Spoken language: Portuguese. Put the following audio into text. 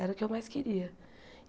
Era o que eu mais queria.